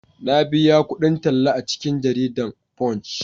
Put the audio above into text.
na biya kudin talla a cikin jaridan "Punch"